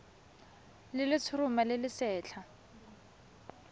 le letshoroma le le setlha